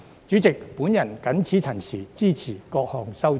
主席，我謹此陳辭，支持各項修正案。